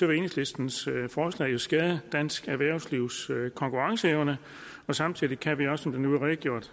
vil enhedslistens forslag jo skade dansk erhvervslivs konkurrenceevne og samtidig kan vi også som der nu blev redegjort